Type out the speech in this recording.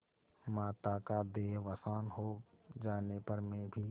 माता का देहावसान हो जाने पर मैं भी